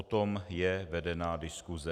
O tom je vedená diskuse.